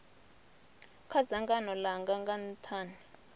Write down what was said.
kha dzangano langa nga nthani